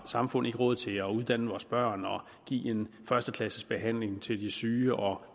samfund ikke råd til at uddanne vores børn og give en førsteklasses behandling til de syge og